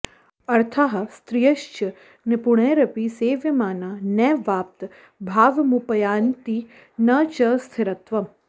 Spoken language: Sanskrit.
अर्थाः स्त्रियश्च निपुणैरपि सेव्यमाना नैवाप्त भावमुपयान्ति न च स्थिरत्वम्